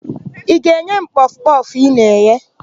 Ị ga-enye m kpọfụ kpọfụ ị na-eghe?